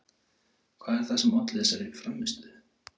Hvað er það sem olli þessari frammistöðu?